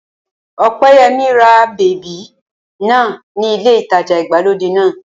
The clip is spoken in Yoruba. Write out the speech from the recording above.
Ọpẹ́yẹmí ra bèbí náà ní ilé ìtajà ìgbàlódé náà